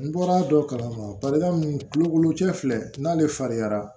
N bɔra dɔ kalama balika mun tulo cɛ filɛ n'ale farinyara